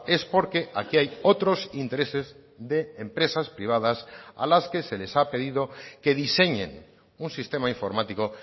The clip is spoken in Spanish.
es porque aquí hay otros intereses de empresas privadas a las que se les ha pedido que diseñen un sistema informático